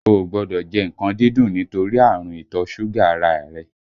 O ò gbọ́dọ̀ jẹ nǹkan dídùn nítorí ààrùn ìtọ́ ṣúgà ara a rẹ!